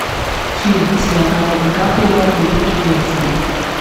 фильм с леонардо ди каприо великий гэтсби